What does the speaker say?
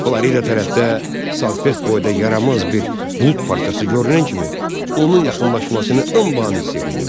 Florida tərəfdə salfet boyda yaramaz bir bulud parçası görünən kimi onun yaxınlaşmasını anbaan hiss eləyirəm.